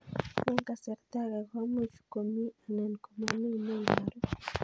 Eng' kasarta ag'e ko much ko mii anan komamii ne ibaru